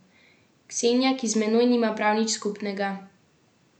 Ksenija, ki z menoj nima prav nič skupnega.